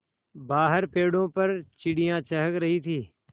बाहर पेड़ों पर चिड़ियाँ चहक रही थीं